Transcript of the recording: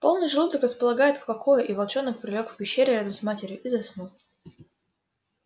полный желудок располагает к покою и волчонок прилёг в пещере рядом с матерью и заснул